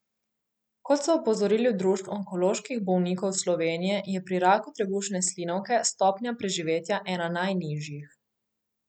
Kot so opozorili v Društvu onkoloških bolnikov Slovenije, je pri raku trebušne slinavke stopnja preživetja ena najnižjih.